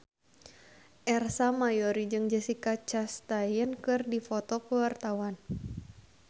Ersa Mayori jeung Jessica Chastain keur dipoto ku wartawan